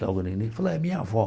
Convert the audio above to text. Falou, é minha avó.